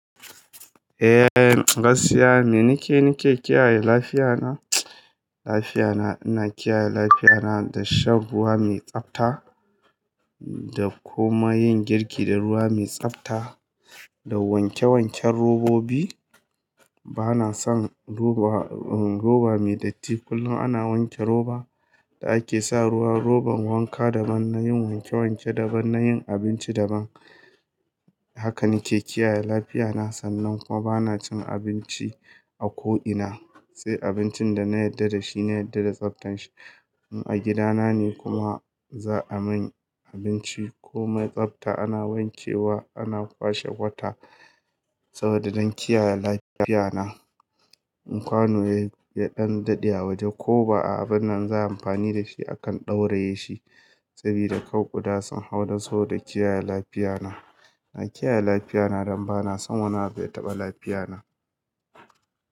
Eh, gaskiya me nike nike kiyaye lafiyana? Lafiyana ina kiyaye lafiyana da shan ruwa mai tsafta da kuma yin girki da ruwa mai tsafta da wanke wanken robobi. Bana son roba, roba me datti kullum ana wanke roba da ake sa ruwa robar wanka daban na yin wanke wanke daban na yin abinci daban. Haka nike kiyaye lafiyana sannan kuma bana cin abinci a ko ina. Sai abincin da na yarda da shi na yarda da tsabtan shi. In a gidana ne kuma za'a min abinci komai tsafta ana wanke wa ana kwashe wata saboda don kiyaye lafiyana. In kwano yaɗan daɗe a waje ko ba'a abin nan za a yi amfani da shi akan ɗauraye shi. Sabida kar kuda sun hau na saboda kiyaye lafiyana. Na kiyaye lafiyana don bana son wani ya taɓa lafiyana.